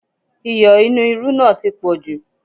Iyọ̀ inú irú náà tí poju